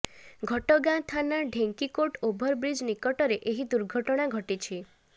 ଘଟଗାଁ ଥାନା ଢେଙ୍କିକୋଟ ଓଭରବ୍ରିଜ୍ ନିକଟରେ ଏହି ଦୁର୍ଘଟଣା ଘଟିଛି